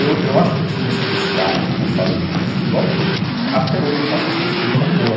Eu eu acho que eu tinha esse destaque, como eu falei, de futebol, porque até hoje eu faço as coisas com muito amor.